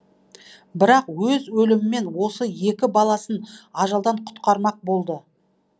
бірақ өз өлімімен осы екі баласын ажалдан құтқармақ болды